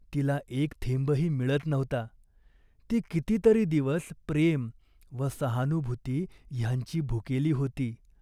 तिला एक थेंबही मिळत नव्हता. ती किती तरी दिवस प्रेम व सहानुभूती ह्यांची भुकेली होती.